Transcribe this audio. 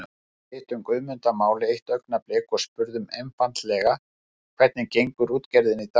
Við hittum Guðmund að máli eitt augnablik og spurðum einfaldlega hvernig gengur útgerðin í dag?